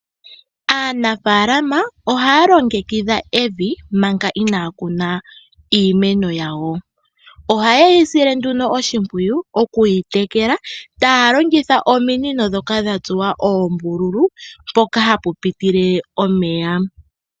Aanafaalama ohaya longekidhwa evi manga inaya kuna iimeno yawo. Oha ye yi sile nduno oshimpwiyu shoku yi tekela, taya longekidha ominino dha tsuwa oombululu, mpoka hapu pitile omeya.